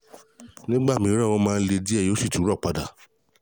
Nígbà mìíràn, ó máa ń le díẹ̀, yóò sì tún rọ̀ padà